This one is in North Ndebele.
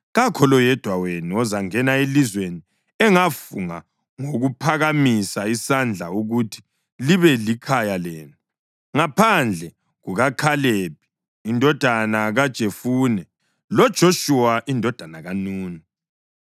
Kakho loyedwa wenu ozangena elizweni engafunga ngokuphakamisa isandla ukuthi libe likhaya lenu, ngaphandle kukaKhalebi indodana kaJefune loJoshuwa indodana kaNuni.